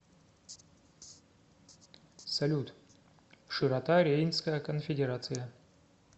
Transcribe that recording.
салют широта рейнская конфедерация